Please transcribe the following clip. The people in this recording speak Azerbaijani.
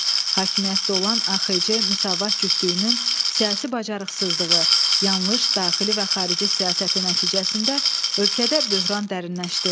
Hakimiyyətdə olan AXC Müsavat cütlüyünün siyasi bacarıqsızlığı, yanlış daxili və xarici siyasəti nəticəsində ölkədə böhran dərinləşdi.